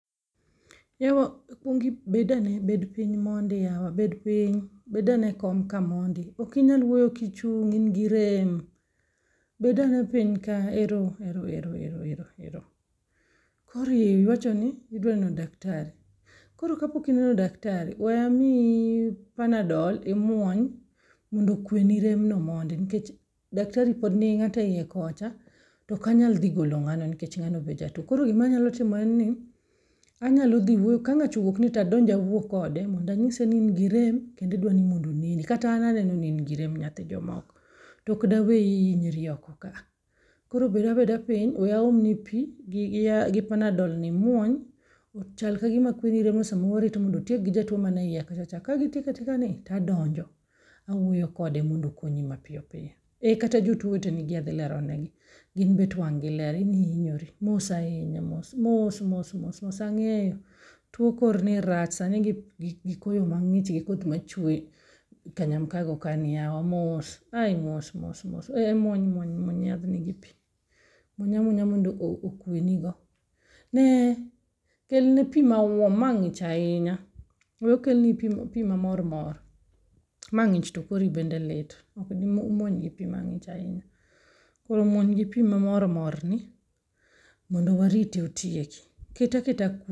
Yawa ikuongi bed ane , bed piny mondi ywa bed piny. Bed ane ekom kae mondi, ok inyal wuoyo ka ichung', in gi rem. Ero ero ero, koro iwachoni idwa neno daktari, koro kapok ineno daktari ,we amiyi pamnadol mondo imuony mondo okweni rem nikech daktari pod nigi ng'ato eiye kocha, to ok anyal dhi golo ng'ano nikech ng'ano be jatuo. To koro gima anyalo timo en ni, anyalo dhi wuoyo kang'acha owuok to adonj awuo kode mondo anyise ni in gi rem kendo idwa ni mondo oneni. To kata an aneno ni in gi rem nyathi jomko, koro bed abeda piny, we aom nigi pi gi panadol ni awuoyo kode mondo okonyi mapiyo piyo. , eh kata jotuo te adjhi lero negi, gin bet wang' gi ler. In ihinyori, mos ahinya, mos mos , mos mos , mos ahinya ang'eyo tuo korni rach. Sani gi koyo mang'ich gi koth machwe kanyam kago kaeni yawa, mos mos mos mos, eke, muony muony muony yadhni gi pim, muony amuonya mondo okue nigo. Ne kelnigo, kelne pi ma wom, mae ng'ich ahinya. We okelni pi mamor mor, mae ng'ich to kori bende lit. Ok dimuon y gi pi mang'ich ahinya. Koro muony gi pi ma mormor, mae ng'ich ahinya. Kel